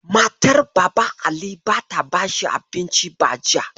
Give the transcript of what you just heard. Matar Baban Ali bata bashi abinci ba jiya.